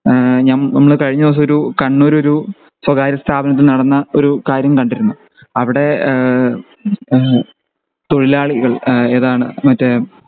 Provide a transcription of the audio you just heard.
ഈഹ് നമ്മൾ കഴിഞ്ഞ ദിവസം ഒരു കണ്ണൂർ ഒരു സ്വകാര്യ സ്ഥാപനത്തിൽ നടന്ന ഒരു കാര്യം കണ്ടിരുന്നു അവിടെ ഏഹ് ഏഹ് തൊഴിലാളികൾ ഏഹ് ഏതാണ് മറ്റേ